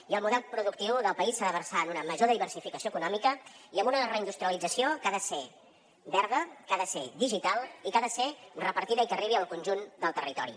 i el model productiu del país s’ha de versar en una major diversificació econòmica i en una reindustrialització que ha de ser verda que ha de ser digital i que ha de ser repartida i que arribi al conjunt del territori